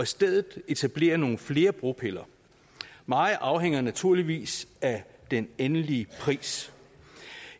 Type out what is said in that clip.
stedet kan etablere nogle flere bropiller meget afhænger naturligvis af den endelige pris